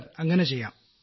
sir അങ്ങനെ ചെയ്യാം